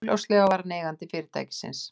Augljóslega var hann eigandi fyrirtækisins.